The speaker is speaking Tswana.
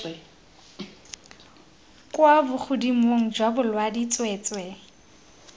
kwa bogodimong jwa bolaodi tsweetswee